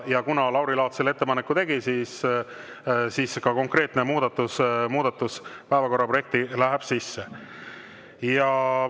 Kuna Lauri Laats selle ettepaneku tegi, siis see konkreetne muudatus läheb päevakorraprojekti sisse.